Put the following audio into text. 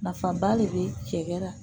Nafaba de be cɛ la